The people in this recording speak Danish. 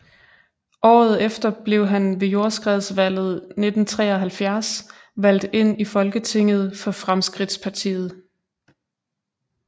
Året efter blev han ved jordskredsvalget 1973 valgt ind i Folketinget for Fremskridtspartiet